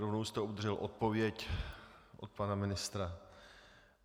Rovnou jste obdržel odpověď od pana ministra.